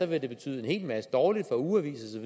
vil betyde en hel masse dårligt for ugeaviser